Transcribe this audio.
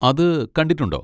അത് കണ്ടിട്ടുണ്ടോ?